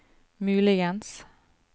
muligens